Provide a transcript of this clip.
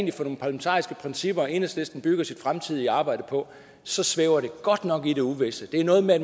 er for nogle parlamentariske principper enhedslisten bygger sit fremtidige arbejde på svæver det godt nok i det uvisse det er noget med